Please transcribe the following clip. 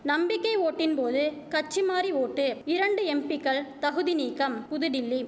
நம்பிக்கை ஓட்டின்போது கட்சிமாறி ஓட்டு இரண்டு எம்பிக்கள் தகுதி நீக்கம் புதுடில்லி